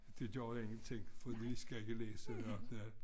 Det gjorde ingenting fordi vi skal ikke læse